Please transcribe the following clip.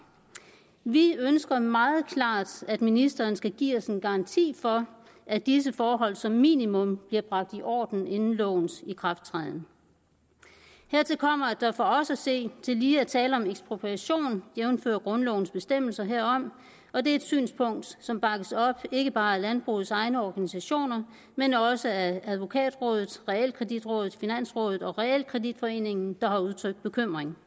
vi ønsker meget klart at ministeren skal give os en garanti for at disse forhold som minimum bliver bragt i orden inden lovens ikrafttræden hertil kommer at der for os at se tillige er tale om ekspropriation jævnfør grundlovens bestemmelser herom og det er et synspunkt som bakkes op ikke bare af landbrugets egne organisationer men også af advokatrådet realkreditrådet finansrådet og realkreditforeningen der har udtrykt bekymring